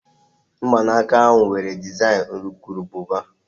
Mgbanaka ahụ nwere dezaịn urukurububa